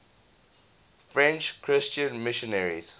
french christian missionaries